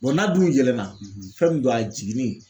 n'a dun yɛlɛnna fɛn min don a jiginnen